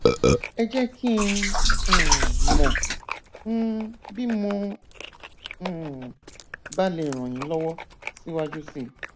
ẹ jẹ kí n um mọ um bí mo um bá lè ràn yín lọwọ síwájú sí i